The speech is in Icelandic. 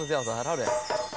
það er hárrétt